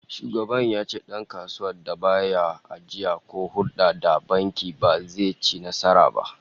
Shugaban ya ce dankasuwar da ba ya ajiya ko hulda da banki ba, ba zai ci nasara ba